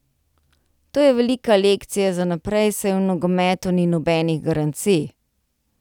To je velika lekcija za naprej, saj v nogometu ni nobenih garancij.